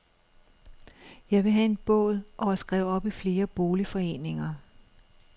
Jeg vil have en båd og er skrevet op i flere boligforeninger.